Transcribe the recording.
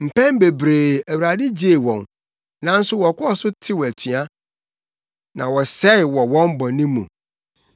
Mpɛn bebree, Awurade gyee wɔn, nanso wɔkɔɔ so tew atua na wɔsɛe wɔ wɔn bɔne mu.